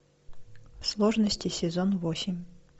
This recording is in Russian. сложности сезон восемь